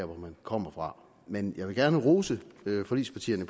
hvor man kommer fra men jeg vil gerne rose forligspartierne